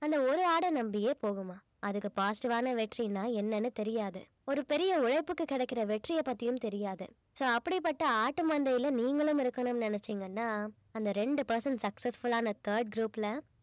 அந்த ஒரு ஆடை நம்பியே போகுமாம் அதுக்கு positive ஆன வெற்றின்னா என்னன்னு தெரியாது ஒரு பெரிய உழைப்புக்கு கிடைக்கிற வெற்றிய பத்தியும் தெரியாது so அப்படிப்பட்ட ஆட்டுமந்தையில நீங்களும் இருக்கணும்னு நினைச்சீங்கன்னா அந்த ரெண்டு percent successful ஆன third group ல